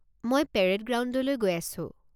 মই পেৰেড গ্ৰাউণ্ডলৈ গৈ আছো।